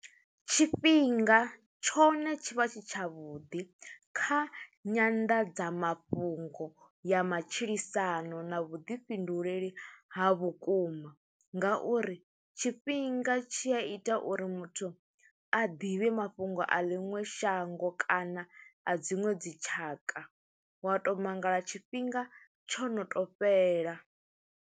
Tshifhinga tshone tshi vha tshi tshavhuḓi kha Nyanḓadza mafhungo ya matshilisano na vhuḓifhinduleli ha vhukuma, ngauri tshifhinga tshi a ita uri muthu a ḓivhe mafhungo a ḽiṅwe shango kana a dziṅwe dzi tshaka wa to mangala tshifhinga tsho no to fhela.